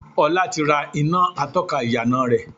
Ọlá ti rà iná atọ́ka ìyànà rẹ.